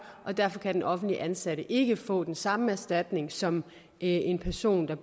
derfor kan den offentligt ansatte ikke få den samme erstatning som en person der